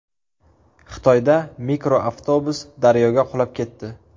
Xitoyda mikroavtobus daryoga qulab ketdi.